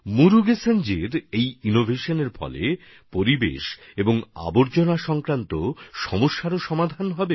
মুরুগেসনজির এই উদ্ভাবন থেকে পরিবেশ আর বর্জ্য ব্যবস্থাপনারও সমাধান আসবে